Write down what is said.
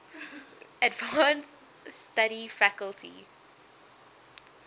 advanced study faculty